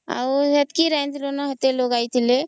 ଆଉ ହେଟିକି ରାନ୍ଧିବୁ ନ କେତେ ଲୋକ ଆଇଥିଲେ